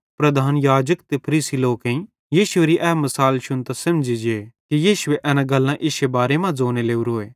प्रधान याजक ते फरीसी लोकेईं यीशुएरी ए मसाल शुन्तां सेमझ़ी जे कि यीशु एन गल्लां इश्शे बारे मां ज़ोने लोरोए